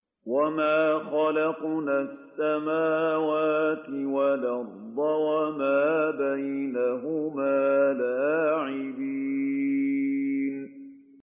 وَمَا خَلَقْنَا السَّمَاوَاتِ وَالْأَرْضَ وَمَا بَيْنَهُمَا لَاعِبِينَ